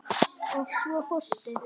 Og svo fórstu.